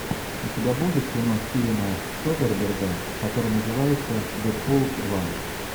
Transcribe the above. у тебя будет кино стивена содерберга которое называется дэдпул два